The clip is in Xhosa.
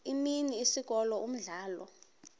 imini isikolo umdlalo